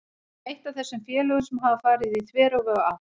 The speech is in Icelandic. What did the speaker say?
Við erum eitt af þessum félögum sem hafa farið í þveröfuga átt.